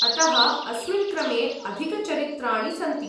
अतः अस्मिन् क्रमे अधिकचरित्राणि सन्ति।